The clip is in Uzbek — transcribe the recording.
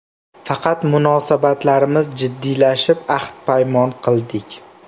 Faqat munosabatlarimiz jiddiylashib, ahd-paymon qildik.